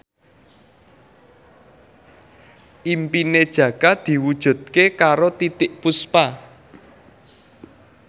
impine Jaka diwujudke karo Titiek Puspa